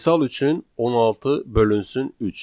Misal üçün, 16 bölünsün 3.